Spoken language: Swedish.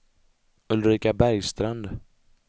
Ulrika Bergstrand